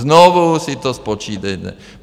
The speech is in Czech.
Znovu si to spočítejte.